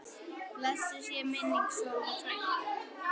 Blessuð sé minning Sollu frænku.